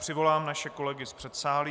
Přivolám naše kolegy z předsálí.